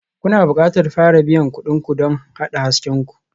Kuna buƙatar fara biyan kuɗin ku don haɗa hasken ku.